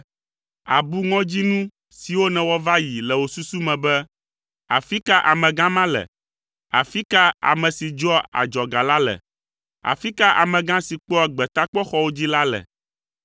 Àbu ŋɔdzinu siwo nèwɔ va yi le wò susu me be, “Afi ka amegã ma le? Afi ka ame si dzɔa adzɔga la le? Afi ka amegã si kpɔa gbetakpɔxɔwo dzi la le?”